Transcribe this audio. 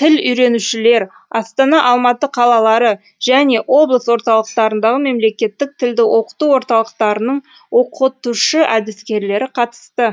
тіл үйренушілер астана алматы қалалары және облыс орталықтарындағы мемлекеттік тілді оқыту орталықтарының оқытушы әдіскерлері қатысты